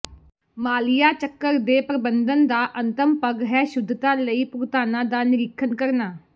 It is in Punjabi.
ਮਾਲੀਆ ਚੱਕਰ ਦੇ ਪ੍ਰਬੰਧਨ ਦਾ ਅੰਤਮ ਪਗ਼ ਹੈ ਸ਼ੁੱਧਤਾ ਲਈ ਭੁਗਤਾਨਾਂ ਦਾ ਨਿਰੀਖਣ ਕਰਨਾ